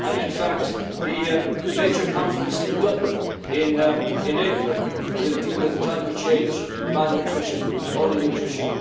In fact, the major conference in Dublin in April will deal with climate change, malnutrition and under nutrition.